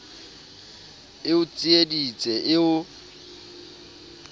e o tsieditse e o